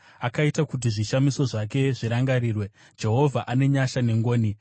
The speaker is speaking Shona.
Akaita kuti zvishamiso zvake zvirangarirwe; Jehovha ane nyasha nengoni.